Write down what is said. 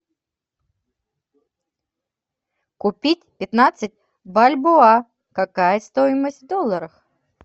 купить пятнадцать бальбоа какая стоимость в долларах